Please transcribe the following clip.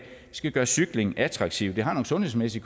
skal gøre cykling attraktivt det har nogle sundhedsmæssige